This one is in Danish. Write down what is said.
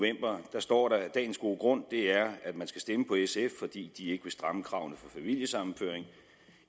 står der at dagens gode grund er at man skal stemme på sf fordi de ikke vil stramme kravene for familiesammenføring